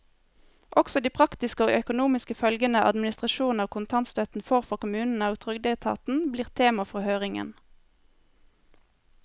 Også de praktiske og økonomiske følgene administrasjonen av kontantstøtten får for kommunene og trygdeetaten, blir tema for høringen.